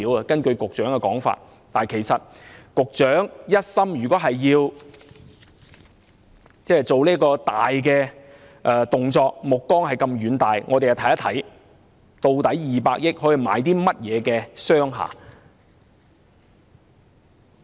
局長，如果一心要做這大動作，目光這麼遠大，我們又看看200億元可以買到甚麼商廈。